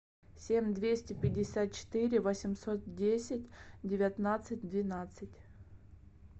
семь двести пятьдесят четыре восемьсот десять девятнадцать двенадцать